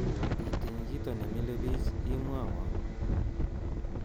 Itiny kito nimile bichi imwowo